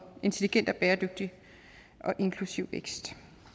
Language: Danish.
intelligent og bæredygtig og inklusiv vækst